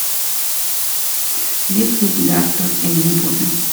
есть ли у тебя артур и минипуты